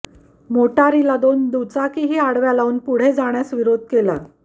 मोटारीला दोन दुचाकी ही आडव्या लावून पुढे जाण्यास विरोध केला